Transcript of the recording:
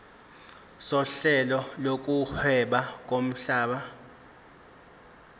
sohlelo lokuhweba lomhlaba